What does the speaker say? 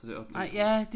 Så det op til